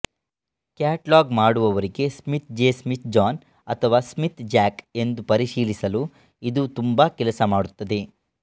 catalogue ಮಾಡುವವರಿಗೆ Smith J Smith John ಅಥವಾ Smith Jack ಎಂದು ಪರಿಶೀಲಿಸಲು ಇದು ತುಂಬಾ ಕೆಲಸ ಮಾಡುತ್ತದೆ